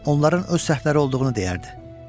Onların öz səhvləri olduğunu deyərdi.